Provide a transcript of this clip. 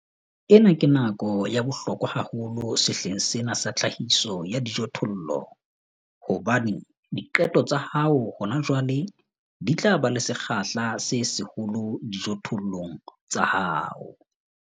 Ena ke nako ya bohlokwa haholo sehleng sena sa tlhahiso ya dijothollo hobane diqeto tsa hao hona jwale di tla ba le sekgahla se seholo dijothollong tsa hao.